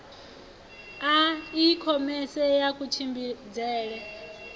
a i khomese ya kutshimbidzele